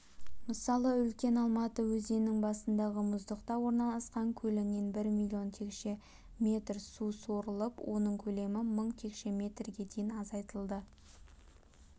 мысалы үлкен алматы өзенінің басындағы мұздықта орналасқан көлінен бір миллион текше метр су сорылып оның көлемі мың текше метрге дейін азайтылды